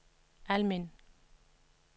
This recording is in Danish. Almind